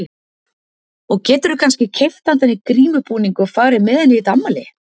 Og geturðu kannski keypt handa henni grímubúning og farið með henni í þetta afmæli?